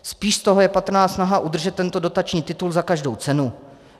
Spíš z toho je patrná snaha udržet tento dotační titul za každou cenu.